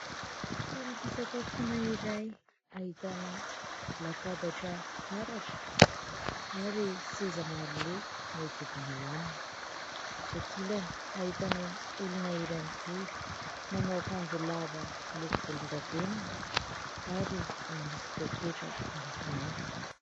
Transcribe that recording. Toeram-pisakafoana iray ahitana latabatra fitaratra ary seza maro loko miodidina eo aminy, etsy ankilany ahitana olona iray mijoro manao akanjo lava miloko volon-davenona ary misy pôketra miloko mainty.